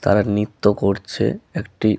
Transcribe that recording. তারা নৃত্য করছে একটি --